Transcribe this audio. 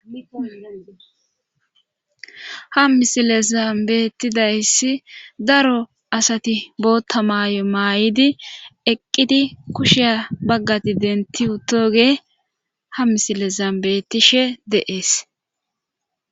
ha misile zambetidayssi daro asati bootta maayo maay7idi eqqidi kushiya baggati denti uttoge ha misile zaambetishe de7ees